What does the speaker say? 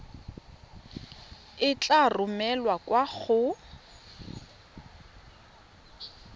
e tla romelwa kwa go